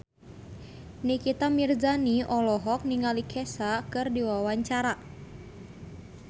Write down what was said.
Nikita Mirzani olohok ningali Kesha keur diwawancara